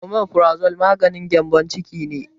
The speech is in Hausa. Omefarazole maganin gembon ciki ne